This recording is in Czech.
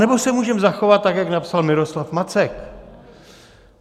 Anebo se můžeme zachovat tak, jak napsal Miroslav Macek.